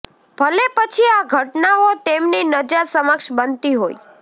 ભલે પછી આ ઘટનાઓ તેમની નજર સમક્ષ બનતી હોય